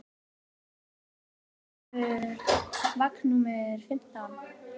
Betsý, hvenær kemur vagn númer fimmtán?